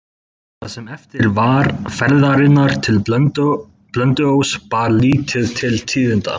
Það sem eftir var ferðarinnar til Blönduóss bar lítið til tíðinda.